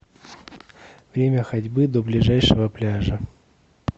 время ходьбы до ближайшего пляжа